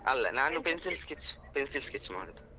ಅಲ್ಲ, ನಾನು pencil sketch, pencil sketch ಮಾಡುದು.